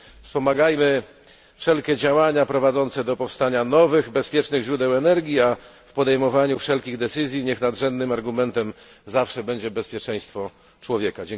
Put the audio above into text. Wspomagajmy wszelkie działania prowadzące do powstania nowych, bezpiecznych źródeł energii, a w podejmowaniu wszelkich decyzji niech nadrzędnym argumentem zawsze będzie bezpieczeństwo człowieka.